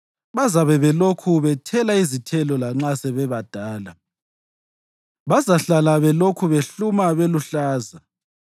Bazabe belokhu bethela izithelo lanxa sebebadala, bazahlala belokhu behluma beluhlaza,